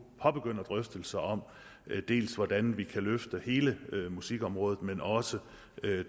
påbegynder drøftelserne om hvordan vi kan løfte hele musikområdet også